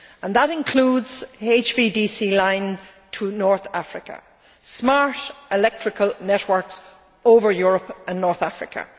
That includes an HVDC line to North Africa smart electrical networks over Europe and North Africa.